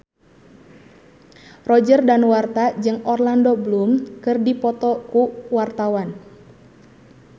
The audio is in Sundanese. Roger Danuarta jeung Orlando Bloom keur dipoto ku wartawan